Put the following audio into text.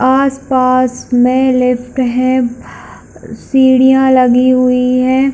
आस पास मे लिफ्ट है सीढ़ियां लगी हुई है।